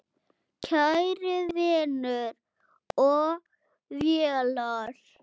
Kæri vinur og félagi.